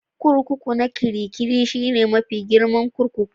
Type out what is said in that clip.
Kurkuku na Kirikiri shine mafi girman kurkuku